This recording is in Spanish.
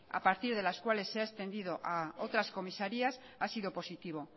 a partir de las cuales se ha extendido a otras comisarías ha sido positivo